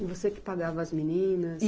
E você que pagava as meninas?